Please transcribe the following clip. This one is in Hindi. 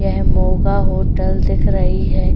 यह मोगा होटल दिख रही है।